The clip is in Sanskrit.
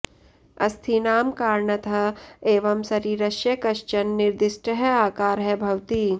अस्थीनां कारणतः एव शरीरस्य कश्चन निर्दिष्टः आकारः भवति